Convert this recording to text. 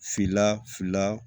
Fila fila